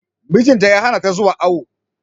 Mijin ta ya hana ta zuwa awo.